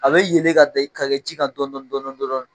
A bɛ yelen ka kɛ ji kan dɔn dɔɔni dɔɔni